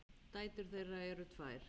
Dætur þeirra eru tvær.